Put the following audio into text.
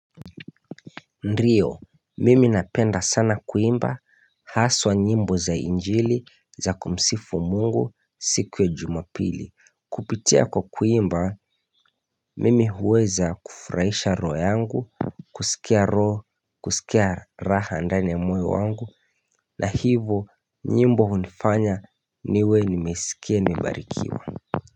Ndio, mimi napenda sana kuimba Haswa nyimbo za injili za kumsifu Mungu siku ya Jumapili. Kupitia kwa kuimba mimi huweza kufurahisha roho yangu kusikia roho kusikia raha ndani ya moyo wangu na hivyo nyimbo hunifanya niwe nimeskia nimebarikiwa.